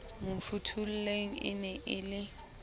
mafotholeng e ne e le